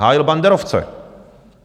Hájil banderovce!